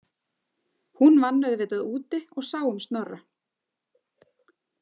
Hún vann auðvitað úti og sá um Snorra.